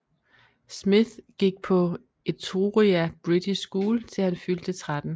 Smith gik på Etruria British School til han fyldte 13